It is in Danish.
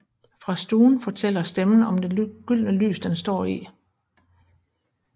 Fra stuen fortæller stemmen om det gyldne lys den står i